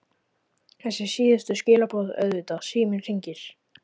Þessi síðustu skilaboð auðvitað- Síminn hringir.